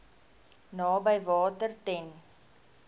naby water ten